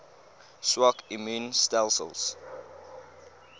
swak immuun stelsels